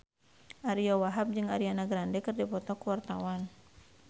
Ariyo Wahab jeung Ariana Grande keur dipoto ku wartawan